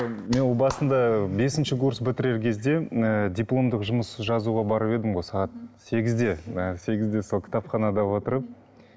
мен ол басында бесінші курс бітірер кезде м ы дипломдық жұмыс жазуға барып едім ғой сағат сегізде ы сегізде сол кітапханада отырып